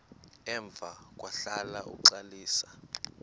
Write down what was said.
emva kwahlala uxalisa